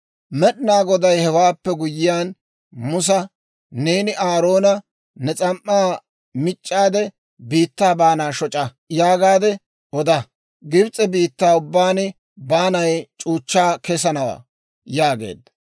Med'inaa Goday hewaappe guyyiyaan, Musa «Neeni Aaroona, ‹Ne s'am"aa mic'c'aade, biittaa baana shoc'a› yaagaade oda. Gibs'e biittaa ubbaan baanay c'uuchchaa kessanawaa» yaageedda.